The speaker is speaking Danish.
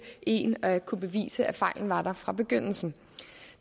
en at kunne bevise at fejlen var der fra begyndelsen